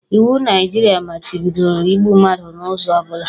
Iwu Naijiria machibidoro igbu mmadụ n'ụzọ ọ bụla